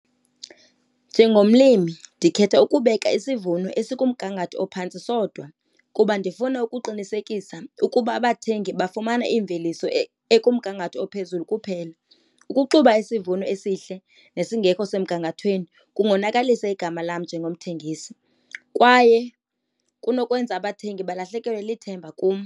Njengomlimi ndikhetha ukubeka isivuno esikumgangatho ophantsi sodwa kuba ndifuna ukuqinisekisa ukuba abathengi bafumana iimveliso ekumngangatho ophezulu zulu kuphela. Ukuxuba isivuno esihle nesingekho semgangathweni kungonakalisa igama lam njengomthengisi kwaye kunokwenza abathengi balahlekelwe lithemba kum.